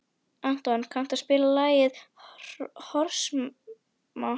Anton, kanntu að spila lagið „Hiroshima“?